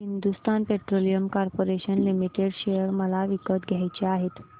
Hindustan petroleum corporation limited share मला विकत घ्यायचे आहेत